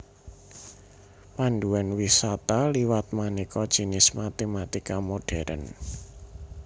Panduan wisata liwat manéka jinis matématika modhèrn